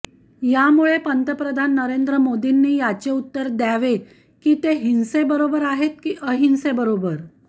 यामुळे पंतप्रधान नरेंद्र मोदींनी याचे उत्तर द्यावे की ते हिंसेबरोबर आहेत की अहिंसेबरोबर